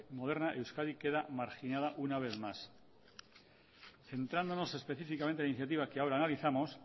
moderna euskadi queda marginada una vez más centrándonos específicamente en la iniciativa que ahora analizamos